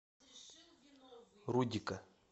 рудика